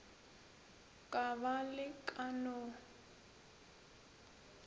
ka ba le ka no